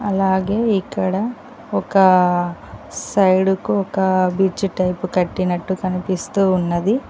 అలాగే ఇక్కడ ఒకా సైడుకు ఒకా బ్రిడ్జ్ టైపు కట్టినట్టు కనిపిస్తూ ఉన్నది.